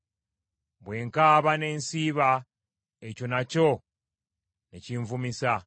Bwe nkaaba ne nsiiba, ekyo nakyo ne kinvumisa.